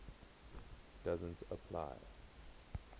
doesn t apply